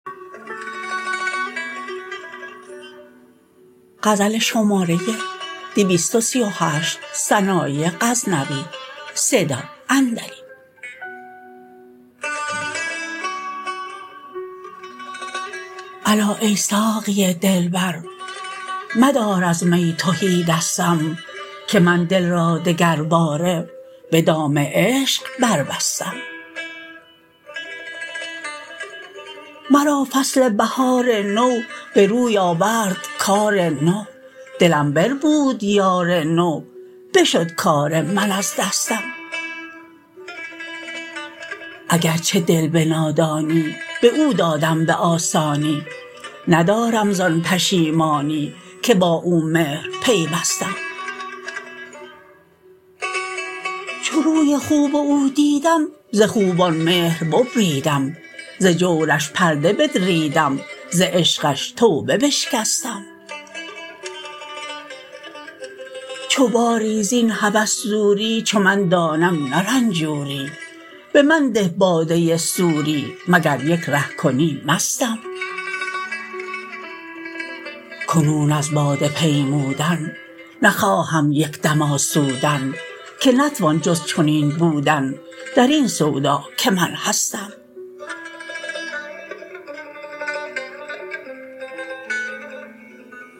الا ای ساقی دلبر مدار از می تهی دستم که من دل را دگرباره به دام عشق بربستم مرا فصل بهار نو به روی آورد کار نو دلم بربود یار نو بشد کار من از دستم اگر چه دل به نادانی به او دادم به آسانی ندارم ز آن پشیمانی که با او مهر پیوستم چو روی خوب او دیدم ز خوبان مهر ببریدم ز جورش پرده بدریدم ز عشقش توبه بشکستم چو باری زین هوس دوری چو من دانم نه رنجوری به من ده باده سوری مگر یک ره کنی مستم کنون از باده پیمودن نخواهم یک دم آسودن که نتوان جز چنین بودن درین سودا که من هستم